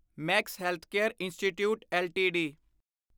Max Healthcare Institute LTD